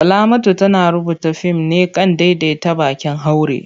Salamatu tana rubuta fim ne kan daidaita baƙin haure.